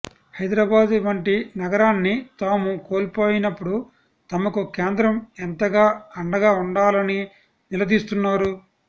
హైదరాబాద్ వంటి నగరాన్ని తాము కోల్పోయినప్పుడు తమకు కేంద్రం ఎంతగా అండగా ఉండాలని నిలదీస్తున్నారు